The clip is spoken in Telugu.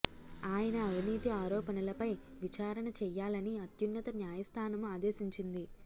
ఆయన అవినీతి ఆరోపణలపై విచారణ చెయ్యాలని అత్యున్నత న్యాయస్థానం ఆదేశించింది